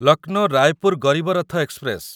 Lucknow Raipur Garib Rath express